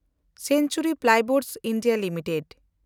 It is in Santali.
Century playboards (India) limited